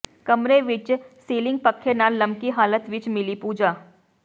ਕਮਰੇ ਵਿੱਚ ਸਿਲਿੰਗ ਪੱਖੇ ਨਾਲ ਲਮਕੀ ਹਾਲਤ ਵਿੱਚ ਮਿਲੀ ਪੂਜਾ